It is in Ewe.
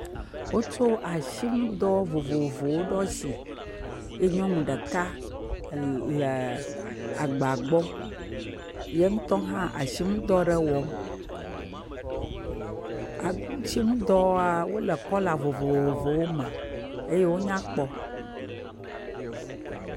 Wotsɔ asinuɖɔ vovovowo ɖo asi eye nyɔnu ɖeka le agba gbɔ, yentɔ hã asinu ɖɔ ɖe wɔm. asinudɔwoa wole kɔla vovovowo me eye wo nya kpɔ.